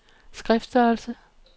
skriftstørrelse